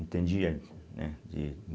Entendia, né? de